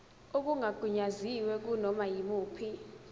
okungagunyaziwe kunoma yimuphi